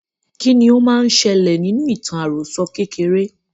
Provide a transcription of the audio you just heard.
kí ni ó máa n ṣẹlẹ̀ nínú ìtàn àròsọ kékeré?